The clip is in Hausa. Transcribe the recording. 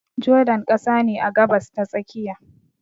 Jordan ƙasa ne a Gabas ta tsakiya